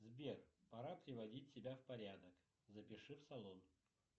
сбер пора приводить себя в порядок запиши в салон